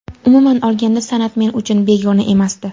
Umuman olganda, san’at men uchun begona emasdi.